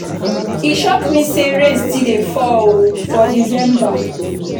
E shock me sey rain still dey fall for December.